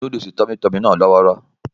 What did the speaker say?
Núdúùsù Tummy tummy náà lọ́wọ́rọ́